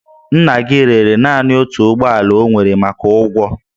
Nna gị rere naanị otu ụgbọ ala o nwere maka ụgwọ